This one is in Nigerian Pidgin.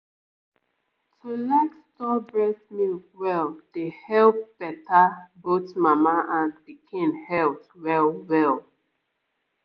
to like store breast milk well dey help better both mama and pikin health well-well